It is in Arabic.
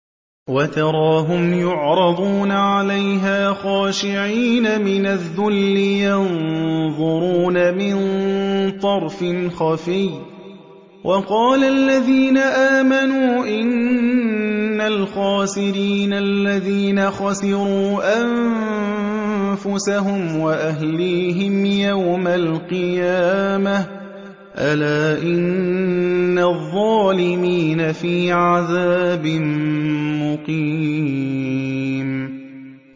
وَتَرَاهُمْ يُعْرَضُونَ عَلَيْهَا خَاشِعِينَ مِنَ الذُّلِّ يَنظُرُونَ مِن طَرْفٍ خَفِيٍّ ۗ وَقَالَ الَّذِينَ آمَنُوا إِنَّ الْخَاسِرِينَ الَّذِينَ خَسِرُوا أَنفُسَهُمْ وَأَهْلِيهِمْ يَوْمَ الْقِيَامَةِ ۗ أَلَا إِنَّ الظَّالِمِينَ فِي عَذَابٍ مُّقِيمٍ